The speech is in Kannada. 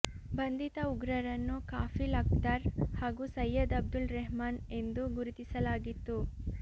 ಬಂಧಿತ ಉಗ್ರರನ್ನು ಕಾಫಿಲ್ ಅಖ್ತರ್ ಹಾಗೂ ಸೈಯದ್ ಅಬ್ದುಲ್ ರೆಹಮಾನ್ ಎಂದು ಗುರುತಿಸಲಾಗಿತ್ತು